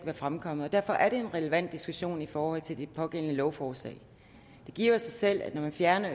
være fremkommet derfor er det en relevant diskussion i forhold til det pågældende lovforslag det giver jo sig selv at når man fjerner